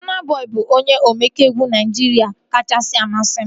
Bọna Bọi bụ onye omenkà egwu Naijiria kachasị amasị m